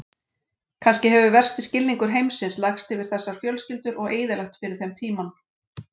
Kannski hefur versti skilningur heimsins lagst yfir þessar fjölskyldur og eyðilagt fyrir þeim tímann.